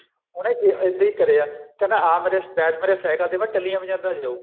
ਉਹਨੇ ਇੱਦਾਂ ਹੀ ਕਰਿਆ ਕਹਿੰਦਾ ਆ ਮੇਰੇ ਬੈਠ ਮੇਰੇ ਸਾਇਕਲ ਤੇ ਮੈਂ ਟੱਲੀਆਂ ਬਜਾਂਦਾ ਜਾਉ